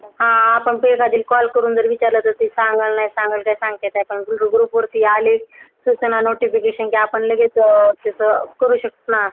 हा आपण Call करून विचारलं तर पाहिलं ती सांगेल का कि नाही ते सांगता येत नाही. पण Group वरती आले त्याचे notification लगेच करू शकतो ना आपण.